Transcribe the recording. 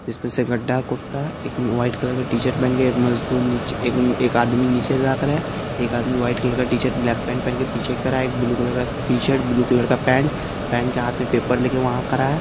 इसमे से गड्डा खोदा एक वाइट कलर का टीशर्ट पेहेन के एक मजदूर नीचे एक--एक आदमी नीचे ताक रहा है एक आदमी वाइट कलर का टीशर्ट ब्लैक पैंट पहन के पीछे खड़ा है एक ब्लू कलर का टीशर्ट ब्लू कलर का पैंट पेहेन के हाथ मे पेपर लेके वंहा खड़ा है।